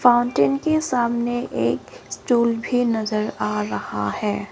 Fountain के सामने एक स्टूल भी नजर आ रहा है।